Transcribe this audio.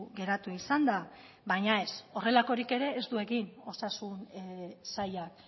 geratu izan da baina ez horrelakorik ere ez du egin osasun sailak